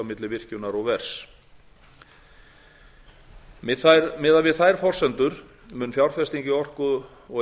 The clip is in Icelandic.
milli virkjunar og vers miðað við þær forsendur mun fjárfesting í orku og